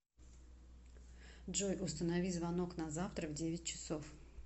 джой установи звонок на завтра в девять часов